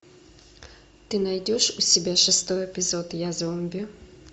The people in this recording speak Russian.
ты найдешь у себя шестой эпизод я зомби